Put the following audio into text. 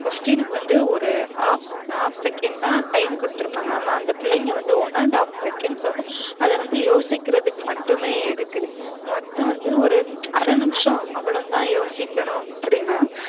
Question னுக்கு வந்து ஒரு half half second தான் time குடுத்துருப்பாங்க ஆனா அந்த பிள்ளைங்க வந்து one and half seconds வந்து அத வந்து யோசிக்குறதுக்கு மட்டுமே எடுக்குது. மொத்தம் வந்து ஒரு அரை நிமிஷம் அவ்வளவுதான் யோசிக்கனும் அப்டினா